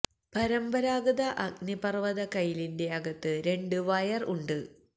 പരമ്പരാഗത അഗ്നിപർവ്വത കയിലിന്റെ അകത്ത് രണ്ട് വയർ വയർ ഉണ്ട്